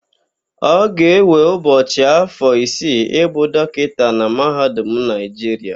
Ọ ga-ewe Ugochi afọ isii ịbụ dọkịta na mahadum Naịjiria.